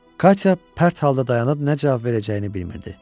Katya pərt halda dayanıb nə cavab verəcəyini bilmirdi.